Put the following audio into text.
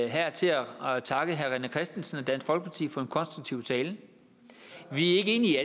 her til at takke herre rené christensen og dansk folkeparti for en konstruktiv tale vi er ikke enige